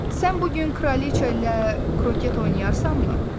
Sən bu gün kraliça ilə kroket oynayarsanmı?